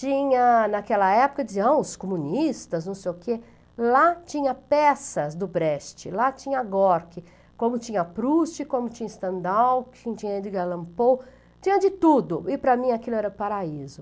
Tinha, naquela época, diziam os comunistas, não sei o quê, lá tinha peças do Brecht, lá tinha Gorky, como tinha Proust, como tinha Stendhal, tinha Edgar Allan Poe, tinha de tudo, e para mim aquilo era paraíso.